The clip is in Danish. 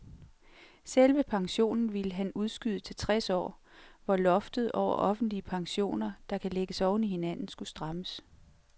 Selve pensionen ville han udskyde til tres år, hvor loftet over offentlige pensioner, der kan lægges oven i hinanden, skulle strammes.